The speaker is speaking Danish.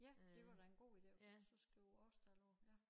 Ja det var da en god ide og så skrive årstal på ja